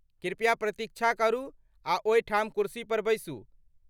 कृपया प्रतीक्षा करू आ ओहिठाम कुर्सी पर बैसू।